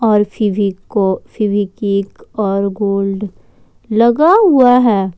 और फिवीको फेवीक्विक और गोल्ड लगा हुआ है।